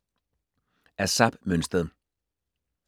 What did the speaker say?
Af Zap Mønsted